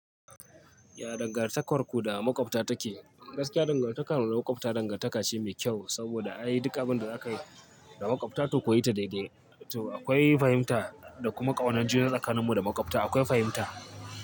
Ya dangantakarku da makwabta take? Gaskiya dangantakar mu da makwabta dangantaka ce mai kyau saboda ai duk abin da za ka yi da makwabta to ka yi ta daidai. To akwai fahimta da kuma ƙaunar juna tsakanin mu da makwabta akwai fahimta.